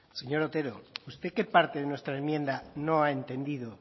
señor otero usted qué parte de nuestra enmienda no ha entendido